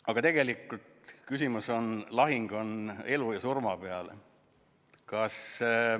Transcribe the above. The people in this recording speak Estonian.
Aga tegelikult on lahing on elu ja surma peale.